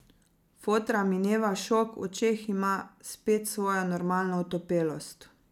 Fotra mineva šok, v očeh ima spet svojo normalno otopelost.